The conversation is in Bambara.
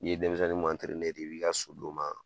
N'i ye denmisɛnnin min de i b'i ka so d'o ma.